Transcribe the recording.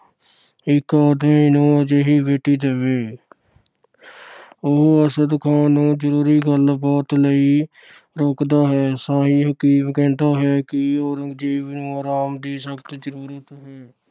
ਇੱਕ ਨੂੰ ਅਜਿਹੀ ਬੇਟੀ ਦੇਵੇ। ਉਹ ਅਰਸ਼ਦ ਖਾਨ ਨੂੰ ਜ਼ਰੂਰੀ ਗੱਲਬਾਤ ਲਈ ਰੋਕਦਾ ਹੈ। ਸ਼ਾਹੀ ਹਕੀਮ ਕਹਿੰਦਾ ਹੈ ਕਿ ਔਰੰਗਜ਼ੇਬ ਨੂੰ ਆਰਾਮ ਦੀ ਸਖਤ ਜਰੂਰਤ ਹੈ।